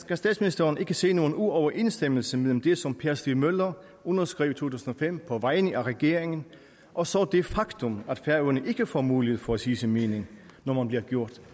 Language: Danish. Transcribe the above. kan statsministeren ikke se nogen uoverensstemmelse mellem det som per stig møller underskrev tusind og fem på vegne af regeringen og så det faktum at færøerne ikke får mulighed for at sige sin mening når man bliver gjort